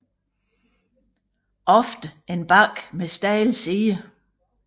Ofte en bakke med stejle sider